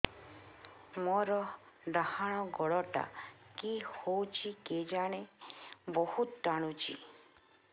ମୋର୍ ଡାହାଣ୍ ଗୋଡ଼ଟା କି ହଉଚି କେଜାଣେ ବହୁତ୍ ଟାଣୁଛି